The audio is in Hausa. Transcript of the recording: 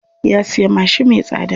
Ya siya mashin me tsada.